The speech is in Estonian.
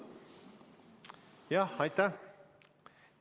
Jah, aitäh!